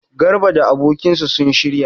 Garba da abokinsa sun shirya?